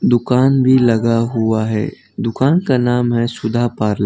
दुकान भी लगा हुआ है दुकान का नाम है सुधा पर्ल --